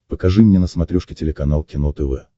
покажи мне на смотрешке телеканал кино тв